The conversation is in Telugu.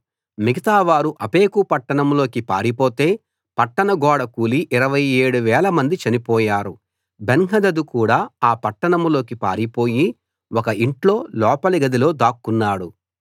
మిగతావారు ఆఫెకు పట్టణంలోకి పారిపోతే పట్టణ గోడ కూలి 27000 మంది చనిపోయారు బెన్హదదు కూడా ఆ పట్టణంలోకి పారిపోయి ఒక ఇంట్లో లోపలి గదిలో దాక్కున్నాడు